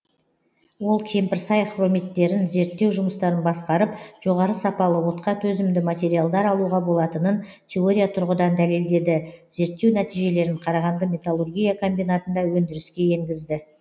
ол кемпірсай хромиттерін зерттеу жұмыстарын басқарып жоғары сапалы отқа төзімді материалдар алуға болатынын теория тұрғыдан дәлелдеді зерттеу нәтижелерін қарағанды металлургия комбинатында өндіріске енгізді